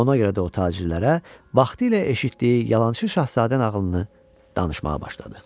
Ona görə də o tacirlərə vaxtilə eşitdiyi yalançı şahzadə nağılını danışmağa başladı.